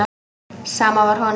Sama var honum.